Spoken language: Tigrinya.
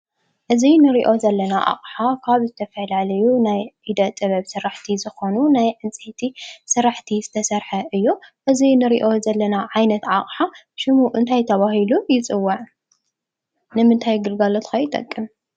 እዚ እንሪኦ ዘለና ኣቕሓ ካብ ዝተፈላለዩ ናይ ኢደ ጥበብ ስራሕቲ ዝኾኑ ናይ ዕንፀይቲ ስራሕቲ ዝተሰርሐ እዩ። እዚ እንሪኦ ዘለና ዓይነት ኣቕሓ ሽሙ እንታይ ተባሂሉ ይፅዋዕ? ንምንታይ ግልጋሎት ከ ይጠቅም?